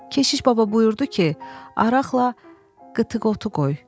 Keşiş Baba buyurdu ki, araqla qıtıq otu qoy.